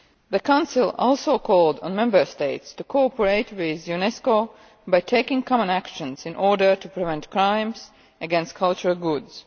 The Council also called on Member States to cooperate with UNESCO by taking common actions in order to prevent crimes against cultural goods.